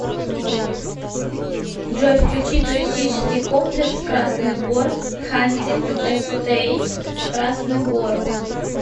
джой включи туристический комплекс красный бор хантинг эстейт красный бор